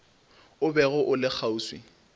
o bego o le kgauswi